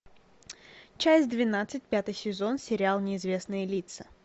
часть двенадцать пятый сезон сериал неизвестные лица